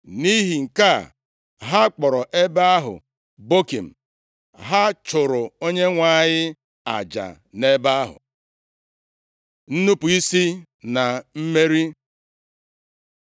Nʼihi nke a, ha kpọrọ ebe ahụ Bokim. Ha chụụrụ Onyenwe anyị aja nʼebe ahụ. Nnupu isi na Mmeri